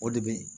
O de bɛ yen